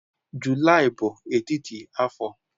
Julaị bụ etiti afọ.